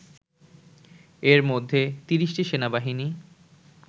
এরমধ্যে ৩০টি সেনাবাহিনী